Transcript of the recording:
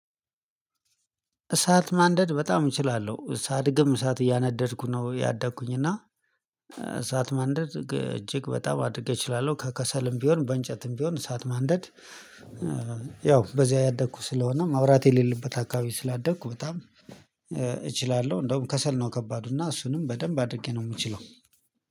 እሳት ማንደድ በጣም እችላለሁ እሳት ሳድግም እሳት እያነደድኩ ነው ያደግኩኝ እና እሳት ማንደድ እጅግ በጣም አድርጌ እችላለሁ ከከሰልም ቢሆን በእንጨትም ቢሆን እሳት ማንደድ። በዚህ ያደኩ ስለሆነ መብራት የሌለበት አካባቢ ስላደኩ በጣም እችላለሁ። እንደውም ከሰል ነው ከባዱ እና እሱንም በደንብ አድርጌ ነው የምችለው።